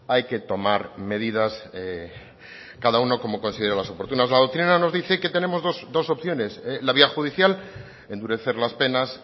hay que tomar medidas cada uno como considere más oportunas la doctrina nos dice que tenemos dos opciones la vía judicial endurecer las penas